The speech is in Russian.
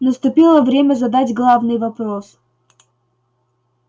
наступило время задать главный вопрос